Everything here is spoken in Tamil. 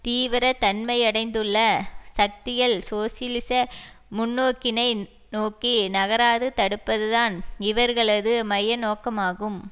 தீவிர தன்மையடைந்துள்ள சக்திகள் சோசியலிச முன்னோக்கினை நோக்கி நகராது தடுப்பதுதான் இவர்களது மைய நோக்கமாகும்